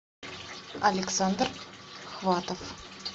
александр хватов